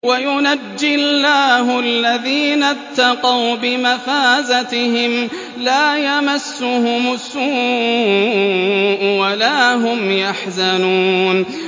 وَيُنَجِّي اللَّهُ الَّذِينَ اتَّقَوْا بِمَفَازَتِهِمْ لَا يَمَسُّهُمُ السُّوءُ وَلَا هُمْ يَحْزَنُونَ